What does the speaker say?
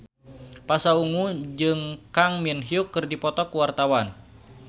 Pasha Ungu jeung Kang Min Hyuk keur dipoto ku wartawan